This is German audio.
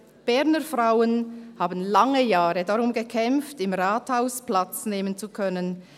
«Berner Frauen haben lange Jahre darum gekämpft, im Rathaus Platz nehmen zu können.